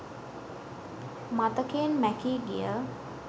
මතකයෙන් මැකී ගිය